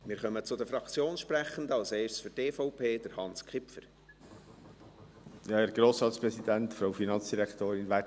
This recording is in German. Wir kommen zu den Fraktionssprechenden, als Erster Hans Kipfer für die EVP.